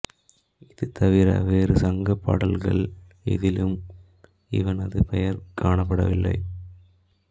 இது தவிர வேறு சங்கப் பாடல்கள் எதிலும் இவனது பெயர் காணப்படவில்லை